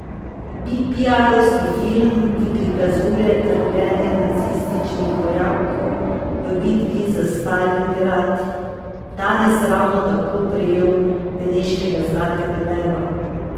Bi piarovski film, ki prikazuje trpljenje nacističnih vojakov v bitki za Stalingrad, danes ravno tako prejel beneškega zlatega leva?